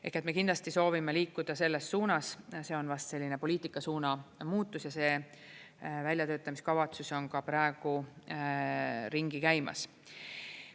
Ehk me kindlasti soovime liikuda selles suunas, see on vast selline poliitika suuna muutus ja see väljatöötamiskavatsus on ka praegu ringi käimas.